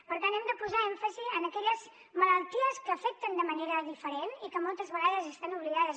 per tant hem de posar èmfasi en aquelles malalties que afecten de manera diferent i que moltes vegades estan oblidades